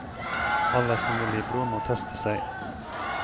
Alle som vil gi blod må teste seg.